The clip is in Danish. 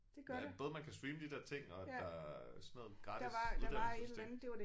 At både man kan streame de der ting og at der sådan noget gratis uddannelsesting